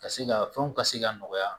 Ka se ka fɛnw ka se ka nɔgɔya